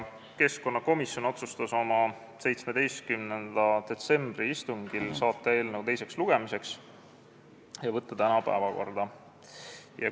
Keskkonnakomisjon otsustas oma 17. detsembri istungil saata eelnõu tänaseks suurde saali teisele lugemisele.